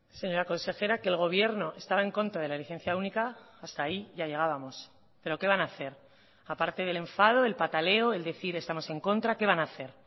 señora consejera que el gobierno estaba en contra de la licencia única hasta ahí ya llegábamos pero qué van a hacer aparte del enfado el pataleo el decir estamos en contra qué van a hacer